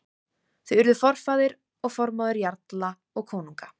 Þau urðu forfaðir og formóðir jarla og konunga.